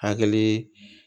Hakili